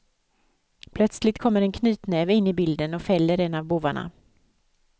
Plötsligt kommer en knytnäve in i bilden och fäller en av bovarna.